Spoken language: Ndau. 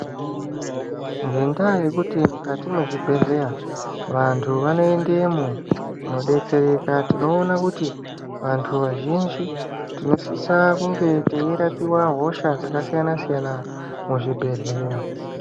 Ngendaa yekuti mukati me zvibhedhleya vantu vano endemo kuno betsereka tinoone kuti vantu azhinji tinosisa kunge tei rapiwa hoshaa dzaka siyana siyana mu zvibhedhleya.